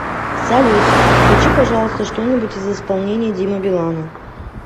салют включи пожалуйста что нибудь из исполнения димы билана